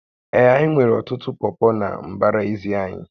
Ee, anyị nwere ọtụtụ ụkwụ pọpọ na mbara ezi anyị